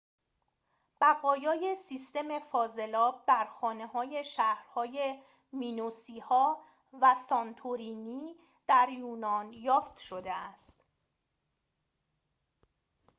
بقایای سیستم فاضلاب در خانه‌های شهرهای مینوسی‌ها و سانتورینی در یونان یافت شده است